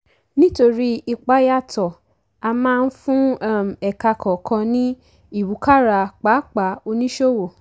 nítorí ipa yàtọ̀ a máa ń fún um ẹ̀ka kọ̀ọ̀kan ní ìwúkàrà pàápàá oníṣòwò.